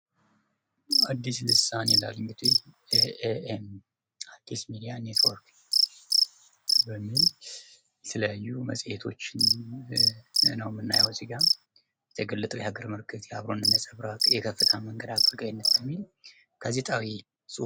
አዲስ ልሳን ይላል እንግዲህ ኤ.ኤ.ኤም አዲስ ሚድያ ኔትወርክ በሚል የተለያዩ መጽሔቶችን ነው የምናየው እዚጋ። የተገለጠ የሀገር ምልክት፣ የአብሮነት ነፀብራቅ ፣የከፍታ መንገድ አገልጋይነት ነዉ ሚል ጋዜጣዊ ...